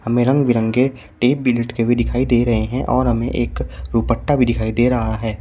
में रंग बिरंगे टेप भी लटके हुए दिखाई दे रहे हैं और हमें एक दुपट्टा भी दिखाई दे रहा है।